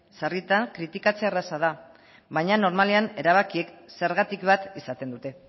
sarritan kritikatzea erraza da baina normalean erabakiek zergatik bat izaten dute